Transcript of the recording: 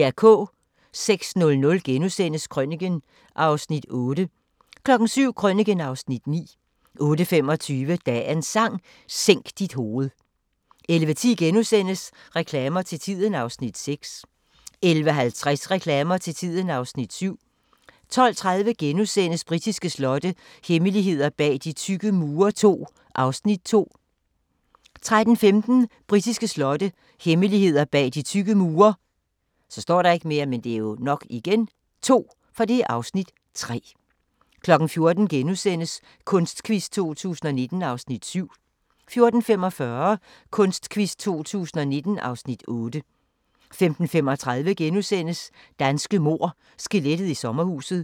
06:00: Krøniken (Afs. 8)* 07:00: Krøniken (Afs. 9) 08:25: Dagens Sang: Sænk dit hoved 11:10: Reklamer til tiden (Afs. 6)* 11:50: Reklamer til tiden (Afs. 7) 12:30: Britiske slotte – hemmeligheder bag de tykke mure II (Afs. 2)* 13:15: Britiske slotte – hemmeligheder bag de tykke mure (Afs. 3) 14:00: Kunstquiz 2019 (Afs. 7)* 14:45: Kunstquiz 2019 (Afs. 8) 15:35: Danske mord – skelettet i sommerhuset *